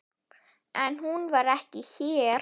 En hún var ekki hér.